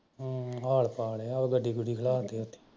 ਹਮ ਹਾਲ ਪਾ ਲਿਆ ਡਿਗਰੀ ਖੜਾ ਕੇ